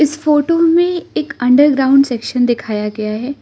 इस फोटो में एक अंडरग्राउंड सेक्शन दिखाया गया है।